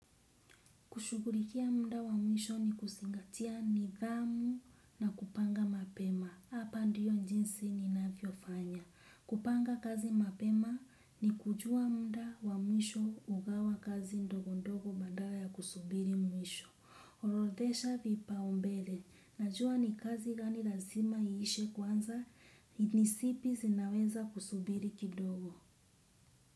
Kushughulikia muda wa mwisho ni kuzingatia nidhamu na kupanga mapema. Hapa ndiyo jinsi ninavyo fanya. Kupanga kazi mapema ni kujua muda wa mwisho ugawa kazi ndogo ndogo badala ya kusubiri mwisho. Orodhesha vipaumbele. Najua ni kazi gani lazima iishe kwanza, ni zipi zinaweza kusubiri kidogo.